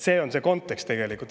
See on see kontekst tegelikult.